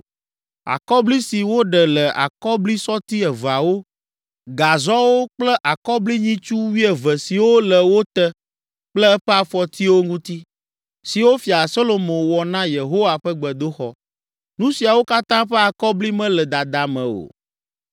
Akɔbli si woɖe le akɔblisɔti eveawo, gazɔwo kple akɔblinyitsu wuieve siwo le wo te kple eƒe afɔtiwo ŋuti, siwo fia Solomo wɔ na Yehowa ƒe gbedoxɔ, nu siawo katã ƒe akɔbli mele dada me o.